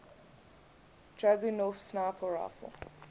dragunov sniper rifle